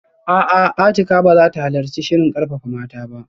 A'a, Atikah ba za ta halarci shirin karfafa mata ba